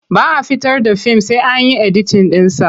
Ba a fitar da fim sai an yi editin ɗinsa.